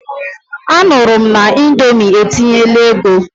Anụrụ m na Indomi etinyela ego.